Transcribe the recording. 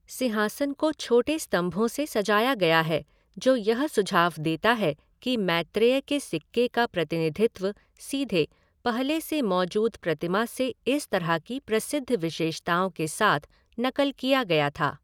सिंहासन को छोटे स्तंभों से सजाया गया है जो यह सुझाव देता है कि मैत्रेय के सिक्के का प्रतिनिधित्व सीधे, पहले से मौजूद प्रतिमा से इस तरह की प्रसिद्ध विशेषताओं के साथ नकल किया गया था।